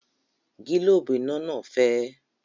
Gílóòbù iná náà fẹ́